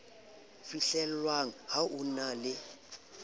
fihlellwang ho e na le